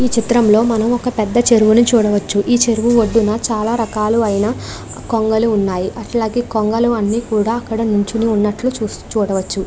ఈ చిత్రం లో మనం ఒక పెద్ద చెరువుని చూడవచ్చు. ఈ చెరువు ఒడ్డున చాలా చాలా రకాలయిన కొంగలు ఉన్నాయ్. అట్లాగే కొంగలు అన్ని కూడా నించొని ఉన్నట్లు చూసు చూడవచ్చు.